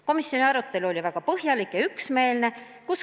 Komisjoni arutelu oli väga põhjalik ja üksmeelne.